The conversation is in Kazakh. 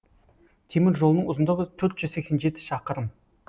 темір жолының ұзындығы төрт жүз сексен жеті шақырым